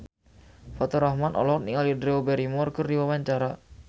Faturrahman olohok ningali Drew Barrymore keur diwawancara